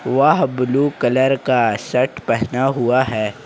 वह blue colour का shirt पहना हुआ है।